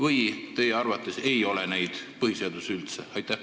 Või ei ole teie arvates neid põhiseaduses üldse?